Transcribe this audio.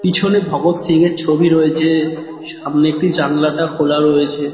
পিছনে ভগৎ সিং এর ছবি রয়েছে সামনে একটি জানলাটা খোলা রয়েছে।